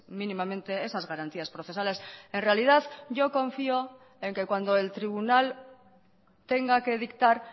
mínimamente esas garantías procesales en realidad yo confío en que cuando el tribunal tenga que dictar